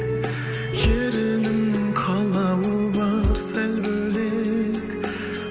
ерініңнің қалауы бар сәл бөлек